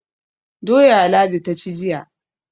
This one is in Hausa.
Doya Ladi ta ci jiya.